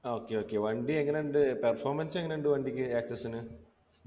okay okay വണ്ടി എങ്ങനുണ്ട് performance എങ്ങനുണ്ട് വണ്ടിക്ക് access ന്